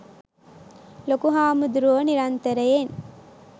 ලොකු හාමුදුරුවෝ නිරන්තරයෙන්